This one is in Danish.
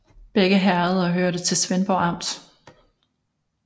Begge herreder hørte til Svendborg Amt